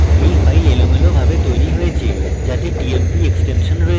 you name এলোমেলোভাবে তৈরী হয়েছে যাতে tmp এক্সটেনশন রয়েছে